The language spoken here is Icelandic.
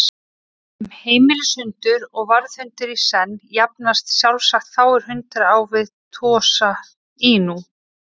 Sem heimilishundur og varðhundur í senn jafnast sjálfsagt fáir hundar á við Tosa Inu.